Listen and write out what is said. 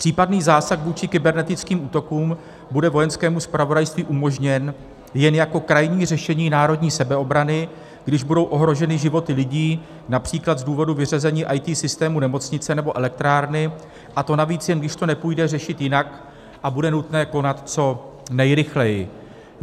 Případný zásah vůči kybernetickým útokům bude Vojenskému zpravodajství umožněn jen jako krajní řešení národní sebeobrany, když budou ohroženy životy lidí, například z důvodu vyřazení IT systému nemocnice nebo elektrárny, a to navíc jen když to nepůjde řešit jinak a bude nutné konat co nejrychleji.